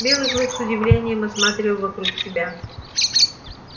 белый клык с удивлением осматривал вокруг себя